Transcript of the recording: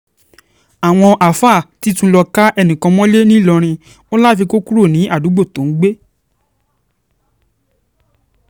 àwọn àáfàá ti tún lọ́ọ́ ká ẹnìkan mọ́lẹ̀ nìlọrin wọn láfi kó kúrò ní àdúgbò tó ń gbé